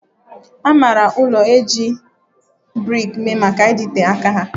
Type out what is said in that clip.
A maara ụlọ ndị e ji brik mee maka ịdịte aka ha